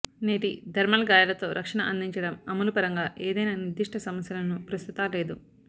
నేటి థర్మల్ గాయాలతో రక్షణ అందించడం అమలు పరంగా ఏదైనా నిర్దిష్ట సమస్యలను ప్రస్తుత లేదు